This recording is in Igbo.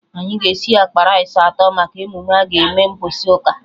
Anyị ga esi akpa rice atọ maka emume aga eme mgbọsị ụka